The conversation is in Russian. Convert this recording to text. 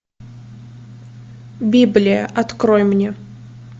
библия открой мне